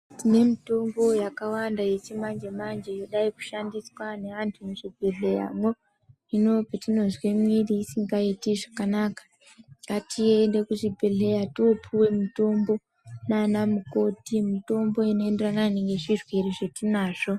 Tine mitombo yakawanda yechimanje-manje yodai kushandiswa neantu muzvibhedhleramwo. Hino petinozwe mwiri isingaiti zvakanaka, ngatiende kuzvibhedhlera toopuwa mutombo nanamukoti. Mutombo inoenderana nezvirwere zvetinazvo.